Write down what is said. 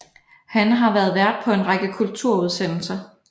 Han har været vært på en række kulturudsendelser